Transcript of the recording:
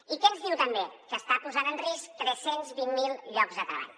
i què ens diu també que està posant en risc tres cents i vint miler llocs de treball